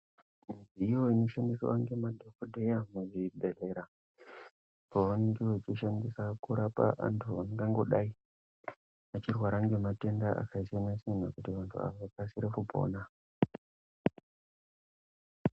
Iyoni inoshandiswa nemadhokoteya kuzvibhedhlera pavanenge vachishandisa kurapa andu vangangodai vachirwara ngematenda akasiya-siyana kuti vandu vazokasira kupona.